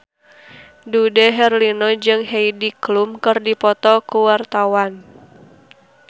Dude Herlino jeung Heidi Klum keur dipoto ku wartawan